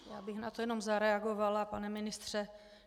Já bych na to jenom zareagovala, pane ministře.